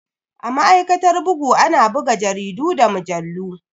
A ma'aikatar bugu ana buga jaridu da mujallu.